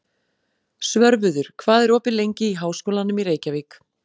Svörfuður, hvað er opið lengi í Háskólanum í Reykjavík?